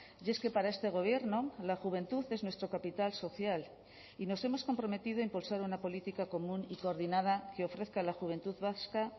y es que para este gobierno la juventud es nuestro capital social y nos hemos comprometido a impulsar una política común y coordinada que ofrezca a la juventud vasca